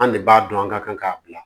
An de b'a dɔn an ka kan k'a bila